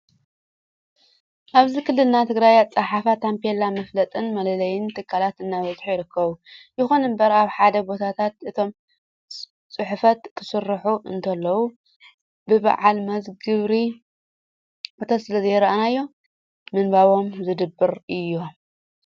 ኣብዚ ክልልና ትግራይ ኣፀሓሕፋ ታቤላ (መፋለጥን መለለይን ትካላት) እናበዝሑ ይርከቡ። ይኹን እምበር ኣብ ሓደ ሓደ ቦታታት እቶም ፅሑፉት ክስርሑ እንከለው ብበዓል መዚ ግብሪ እቶት ስለዘይረኣዩ ንምንባቦም ዝድብሩ እዮም።